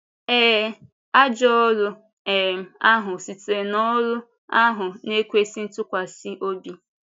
Ée, “ajọ ọ́rụ” um ahụ sitere n’ọ́rụ ahụ na-ekwésị ntụkwasị obi.